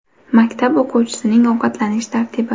Maktab o‘quvchisining ovqatlanish tartibi.